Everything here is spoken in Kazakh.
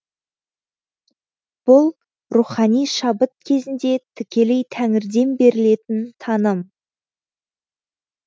бұл рухани шабыт кезінде тікелей тәңірден берілетін таным